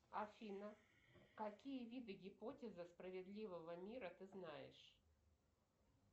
афина какие виды гипотезы справедливого мира ты знаешь